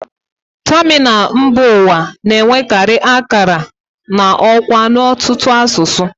Tamịnal mba ụwa na-enwekarị akara na ọkwa n'ọtụtụ asụsụ